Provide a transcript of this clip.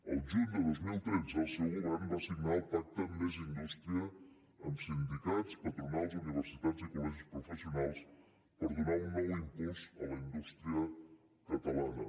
el juny de dos mil tretze el seu govern va signar el pacte més indústria amb sindicats patronals universitats i colprofessionals per donar un nou impuls a la indústria catalana